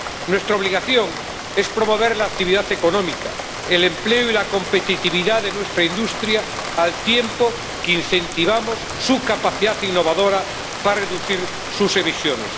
nuestra obligación es promover la actividad económica, el empleo y la competitividad de nuestra industria, al tiempo que incentivamos su capacidad innovadora para reducir sus emisiones.